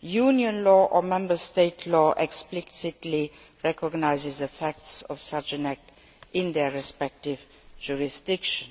Union law or Member State law explicitly recognises the facts of such an act in their respective jurisdiction.